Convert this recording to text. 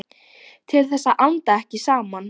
Til þess að anda ekki saman.